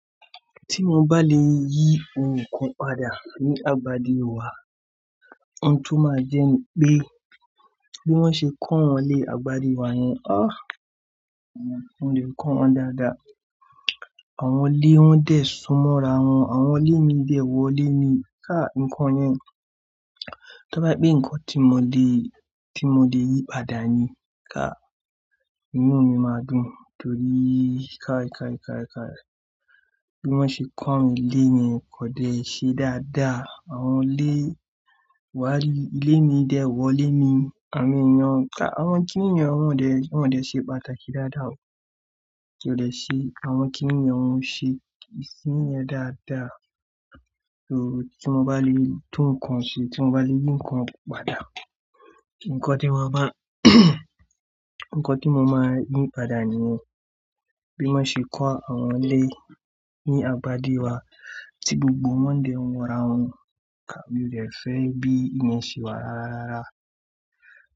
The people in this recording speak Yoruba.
Tí mo bá le yí ounkan padà ní agbadi wa, ohun tó máa jẹ́ pé bí wọ́n ṣe kó wọn lé agbadi wa yẹn, ah! Mo de ko wọn dáadáa. Àwọn ilé wọn dẹ̀ súnmọ́ ra wọn, àwọn ilé mi dẹ̀ wọ ilé mi. Kai ǹkan yẹn, to bá je pé ǹkan tí mo le, tí mo le yí padà ni, kai inu mi máa dùn torí káì káì káì káì. Bí wọ́n ṣe kó awon ile yen, kò dẹ ṣe dáadáa. Àwọn ilé, wá ri ilé mi dẹ̀ wọ ilé mi. Àwon eeyàn, kái àwọn kiní yen wọ́n dẹ, wọ́n dẹ ṣe pàtàkì dáadáa. Kí ó dẹ ṣe àwọn kiníyen, wọ́n ṣe ìsín yẹn dáadáa. So tí mo bá le, tu nkan ṣe, tí mo bá le yí ǹkan padà, ǹkan tí mo má, ǹkan tí mo máa yí padà nìyẹn. Bí wọ́n ṣe kó àwọn ilé ní agbadi wa tí gbogbo wọn dẹ̀ wọ́ ra wọn. Ka! Mi ó dẹ fẹ́ bí ìyẹn ṣe wà rárárára.